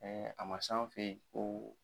Ɛɛ a ma s'an fɛ yen ko